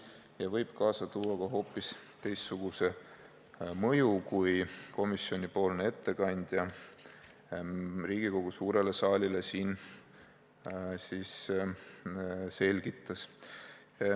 See võib kaasa tuua ka hoopis teistsuguse mõju, kui komisjoni ettekandja siin Riigikogu suurele saalile selgitas.